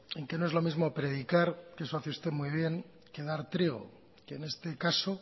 en que no es lo mismo predicar que eso hace usted muy bien que dar trigo que en este caso